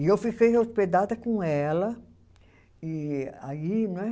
E eu fiquei hospedada com ela e aí não é